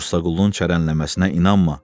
Mursa Qulunun çərənəmləsinə inanma.